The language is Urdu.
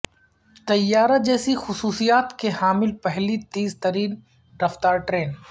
طیارہ جیسی خصوصیت کی حامل پہلی تیز رفتار ٹرین